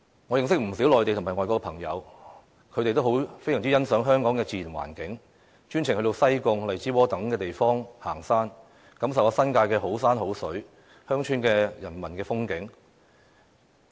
我認識不少內地及外國朋友，他們都非常欣賞香港的自然環境，專程到西貢、荔枝窩等地方行山，感受新界的好山好水和鄉村的人文風景。